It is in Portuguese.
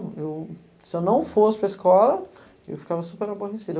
Eu, se eu não fosse para a escola, eu ficava super aborrecida.